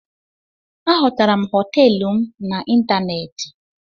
Ahotara m hoteelu m na ịntanéétị